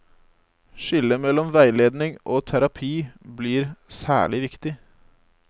Skillet mellom veiledning og terapi blir særlig viktig.